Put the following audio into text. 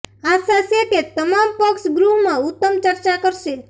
આશા છે કે તમામ પક્ષ ગૃહમાં ઉત્તમ ચર્ચા કરશે